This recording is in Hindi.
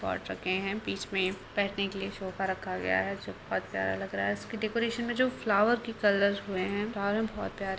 पॉट रखे हैं बीच में बैठने के लिए सोफा रखा गया है जो बहुत प्यारा लग रहा है| इसके डेकोरेशन में जो फ्लावर के कलर हुए हैं फ्लावर भी बहुत प्यारे--